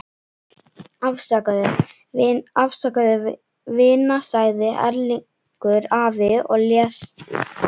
Afsakaðu, vina sagði Erlingur afi og lést hissa.